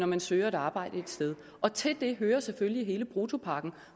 man søger et arbejde et sted og til det hører selvfølgelig hele bruttopakken